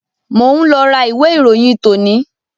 Mo ń lọ ra ìwé ìròyìn tòní